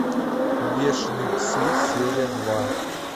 бешеные псы серия два